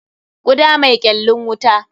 Kuda mai kyallin wuta.